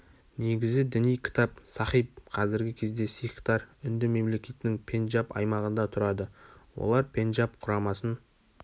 негізі діни кітап сахиб қазіргі кезде сикхтар үнді мемлекетінің пенджаб аймағында тұрады олар пенджаб құрамасын